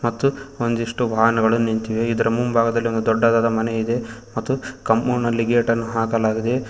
ಮತ್ತು ಒಂದಿಷ್ಟು ವಾಹನಗಳು ನಿಂತಿವೆ ಇದರ ಮುಂಭಾಗದಲ್ಲಿ ಒಂದು ದೊಡ್ಡದಾದ ಮನೆ ಇದೆ ಮತ್ತು ಕಾಂಪೌಂಡ್ ನಲ್ಲಿ ಗೇಟನ್ನು ಹಾಕಲಾಗಿದೆ.